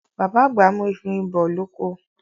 Bàbá àgbà mú efinrin bọ oko.